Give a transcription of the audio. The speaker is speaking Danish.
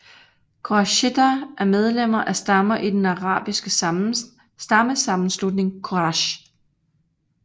Qurayshitter er medlemmer af stammer i den arabiske stammesammenslutning Quraysh